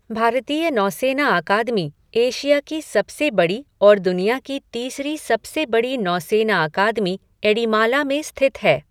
भारतीय नौसेना अकादमी, एशिया की सबसे बड़ी और दुनिया की तीसरी सबसे बड़ी नौसेना अकादमी, एड़िमाला में स्थित है।